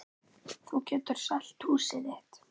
Þú getur selt húsið þitt.